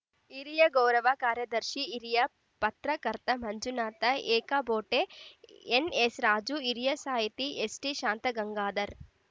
ಹಿರಿಯ ಗೌರವ ಕಾರ್ಯದರ್ಶಿ ಹಿರಿಯ ಪತ್ರಕರ್ತ ಮಂಜುನಾಥ ಏಕಬೋಟೆ ಎನ್‌ಎಸ್‌ರಾಜು ಹಿರಿಯ ಸಾಹಿತಿ ಎಸ್‌ಟಿಶಾಂತಗಂಗಾಧರ್‌